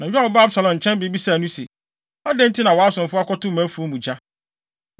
Na Yoab baa Absalom nkyɛn bebisaa no se, “Adɛn nti na wʼasomfo akɔto mʼafuw mu gya?”